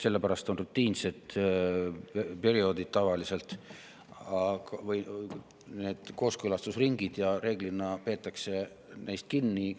Sellepärast on kooskõlastusringid tavaliselt rutiinse perioodi jooksul ja reeglina peetakse sellest kinni.